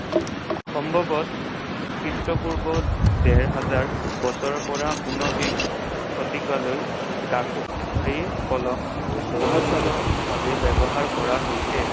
সম্ভতঃ খ্ৰীষ্টপূৰ্ব ডেৰ হাজাৰ বছৰৰ পৰা ঊনবিংশ শতিকালৈ কলম বহুল্যভাৱে ব্যৱহাৰ কৰা হৈছিল।